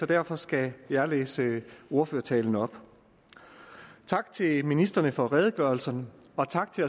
derfor skal jeg læse ordførertalen op tak til ministrene for redegørelserne og tak til